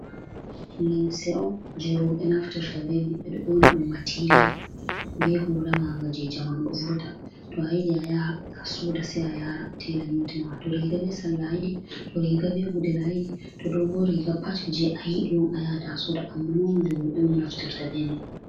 Lemse’on je robe naftirta bemai bedo yonadum matiriyal be hulamaga jejamano ,do vurta to ayidi a yaha a soda sa a yara tela nyotinawa to riga be salla aidi do riga be gudel ayidi to dogo riga pa je a yidi on a yata a soda amma nomali robe on naftirta bema.